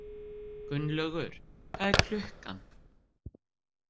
Gunnlaug, hvað er klukkan?